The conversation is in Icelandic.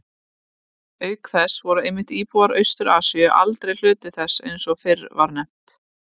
Auk þess voru einmitt íbúar Austur-Asíu aldrei hluti þess eins og fyrr var nefnt.